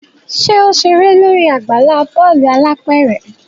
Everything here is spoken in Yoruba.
ṣe o ṣere lórí àgbàlá bọọlu alápẹrẹ?